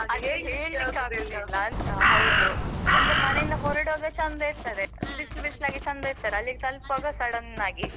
ಅದು ಹೇಳಿಕ್ಕಾಗುದಿಲ್ಲ ಅಂತ ಹೌದು. ಅಂದ್ರೆ ಮನೆಯಿಂದ ಹೊರಡುವಾಗ ಚಂದ ಇರ್ತದೆ. ಬಿಸ್ಲು ಬಿಸ್ಲು ಆಗಿ ಚಂದ ಇರ್ತದೆ ಅಲ್ಲಿಗೆ ತಲುಪವಾಗ sudden ಆಗಿ